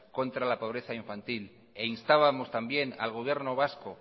contra la pobreza infantil e instábamos también al gobierno vasco